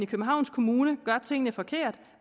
københavns kommune gør tingene forkert